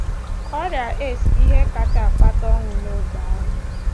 Ọrịa AIDS bụ ihe kasị akpata ọnwụ n’ógbè ahụ